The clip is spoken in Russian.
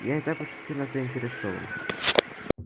я не так уж сильно заинтересован